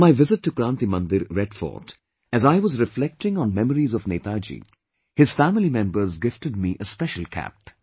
On my visit to Kranti Mandir, Red Fort, as I was reflecting on memories of Netaji, his family members gifted me a special cap